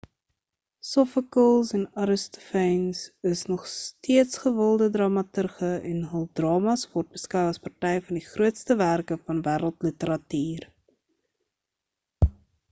sophokles en aristophanes is nog steeds gewilde dramaturge en hul drama's word beskou as party van die grootste werke van wêreldliteratuur